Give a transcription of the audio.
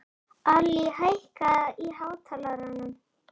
Allý, hækkaðu í hátalaranum.